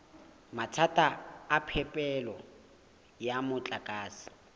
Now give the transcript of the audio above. mathata a phepelo ya motlakase